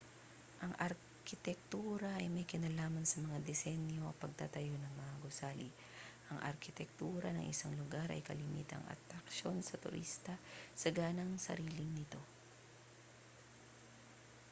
ang arkitektura ay may kinalaman sa disenyo at pagtatayo ng mga gusali ang arkitektura ng isang lugar ay kalimitang atraksyon sa turista sa ganang sarili nito